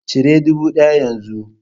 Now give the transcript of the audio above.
Cire dubu ɗaya yanzu!